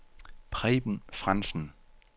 Preben Frandsen